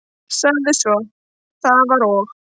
Sagði svo: Það var og